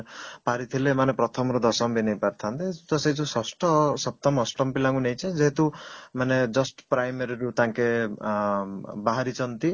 ପାରିଥିଲେ ଏମାନେ ପ୍ରଥମ ରୁ ଦଶମ ବି ନେଇପାରିଥାନ୍ତେ ତ ସେଇ ଯୋଉ ଷଷ୍ଠ ସପ୍ତମ ଅଷ୍ଟମ ପିଲା ଙ୍କୁ ନେଇଛ ମାନେ ଯେହେତୁ just primary ରୁ ତାଙ୍କେ ଅଂ ବାହାରିଛନ୍ତି